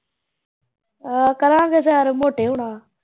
ਉਹ ਕਰਾਂਗੇ ਸ਼ੈਰ ਮੋਟੇ ਹੁਣਾ